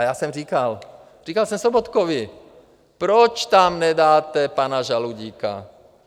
A já jsem říkal, říkal jsem Sobotkovi: Proč tam nedáte pana Žaloudíka?